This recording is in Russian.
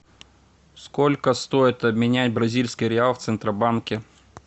сколько стоит обменять бразильский реал в центробанке